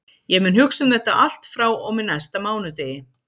Ég mun hugsa um þetta allt frá og með næsta mánudegi.